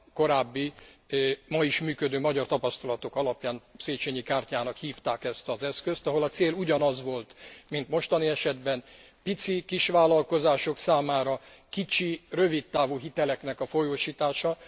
Korábbi, ma is működő magyar tapasztalatok alapján Széchenyi kártyának hívták ezt az eszközt, ahol a cél ugyanaz volt, mint mostani esetben pici kisvállalkozások számára kicsi, rövidtávú hiteleknek a folyósítása.